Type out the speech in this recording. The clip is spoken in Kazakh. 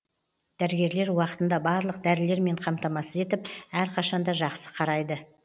дәрігерлер уақытында барлық дәрілермен қамтамасыз етіп әрқашан да жақсы қарайды